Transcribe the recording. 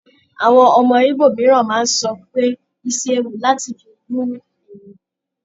Àwọn ọmọ Igbo mìíràn máa ń sọ pé isi ewu láti fi bú ènìyàn.